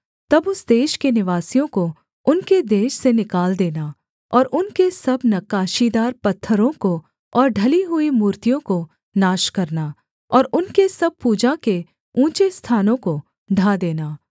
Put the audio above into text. तब उस देश के निवासियों को उनके देश से निकाल देना और उनके सब नक्काशीदार पत्थरों को और ढली हुई मूर्तियों को नाश करना और उनके सब पूजा के ऊँचे स्थानों को ढा देना